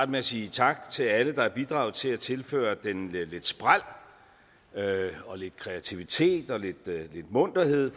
med at sige tak til alle der har bidraget til at tilføre den lidt spræl og lidt kreativitet og lidt munterhed